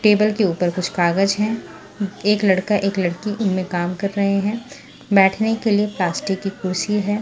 Table के ऊपर कुछ कागज हैं एक लड़का एक लड़की इनमें काम कर रहे हैं बैठने के लिए प्लास्टिक की कुर्सी है।